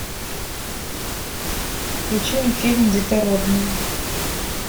включи мне фильм детородные